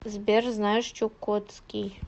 сбер знаешь чукотский